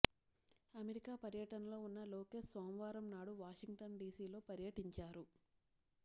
America పర్యటనలో ఉన్న లోకేష్ సోమవారం నాడు వాషింగ్టన్ డీసీలో పర్యటించారు